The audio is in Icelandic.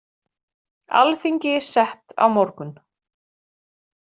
Alþingi sett á morgun